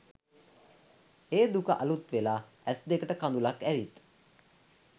ඒ දුක අලුත්වෙලා ඇස්දෙකට කදුළක් ඇවිත්